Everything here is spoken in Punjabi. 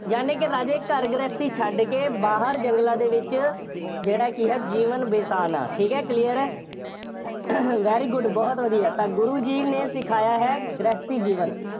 ਯਾਨੀ ਕਿ ਰਾਜੇ ਘਰ ਗ੍ਰਹਿਸਥੀ ਛੱਡ ਕੇ ਬਾਹਰ ਜੰਗਲਾਂ ਦੇ ਵਿੱਚ ਜਿਹੜਾ ਕਿ ਹੈ, ਜੀਵਨ ਬਿਤਾਉਣਾ, ਠੀਕ ਹੈ, clear ਹੈ, very good ਬਹੁਤ ਵਧੀਆ, ਤਾਂ ਗੁਰੂ ਜੀ ਨੇ ਸਿਖਾਇਆ ਹੈ, ਗ੍ਰਹਿਸਥੀ ਜੀਵਨ।